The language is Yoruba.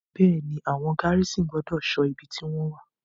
Bẹ́è ni, àwọn gárísìn gbọ́dọ̀ ṣọ ibi tí wọ́n wà.